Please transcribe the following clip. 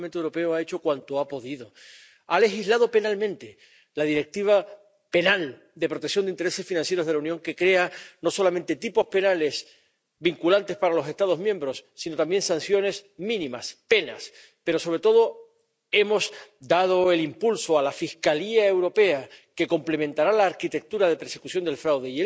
Y este Parlamento Europeo ha hecho cuanto ha podido ha legislado penalmente —la Directiva penal de protección de los intereses financieros de la Unión, que crea no solamente tipos penales vinculantes para los Estados miembros, sino también sanciones mínimas, penas—, pero, sobre todo, hemos dado el impulso a la Fiscalía Europea, que complementará la arquitectura de persecución del fraude.